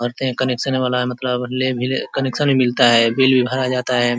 और कनेक्शन वाला मतलब ले भी ले कनेक्शन भी मिलता है बिल भी भरा जाता है।